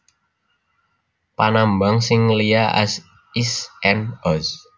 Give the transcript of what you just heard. Panambang sing liya az is and oz